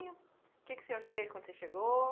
O que que o senhor fez quando você chegou?